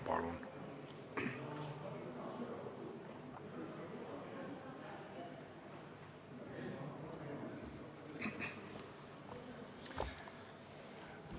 Palun!